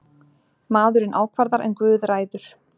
Maðurinn ákvarðar en guð ræður.